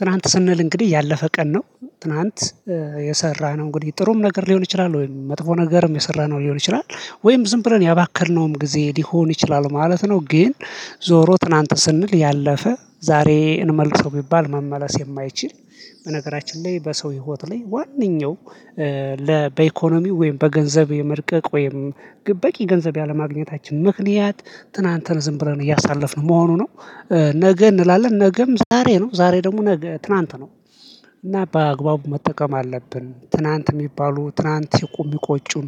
ትናንት ስንል እንግዲህ ያለፈ ቀን ነው ትናንት የሰራነው እንግዲህ ጥሩም ነገር ሊሆን ይችላል ወይም መጥፎ ነገርም የሰራነው ሊሆን ይችላል ወይም ዝም ብለን ያባከነውም ጊዜ ሊሆን ይችላል ማለት ነው። ግን ዞሮ ትናንት ስንል ያለፈ ዛሬ እንመልሰው ቢባል መመለስ የማይችል። በነገራችን ላይ በሰው ህይወት ላይ ዋናው ለበኢኮኖሚው ወይም በገንዘብ የመርቀቅ ወይም በቂ ገንዘብ ያለማግኘታችን ምክንያት ትናንትን ዝም ብለን እያሳለፍን መሆኑ ነው። ነገ እንላለን ነገም ዛሬ ነው ዛሬ ደግሞ ትናንት ትላንት ነው። እና በአግባቡ መጠቀም አለብን ትላንት የሚባሉ ትላንት የቁም የማቆጩን